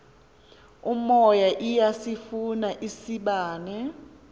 umoya iyasifuna isibane